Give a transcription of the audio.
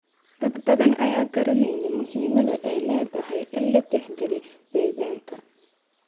Dad badan ayaan garanayn muhiimadda ay leedahay in la tixgeliyo deegaanka.